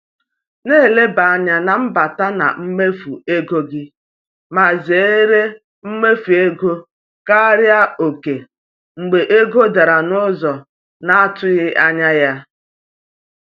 Na-eleba anya n’mbata na mmefu ego gị ma zere imefu ego karịa oke mgbe ego dara n’ụzọ na-atụghị anya ya.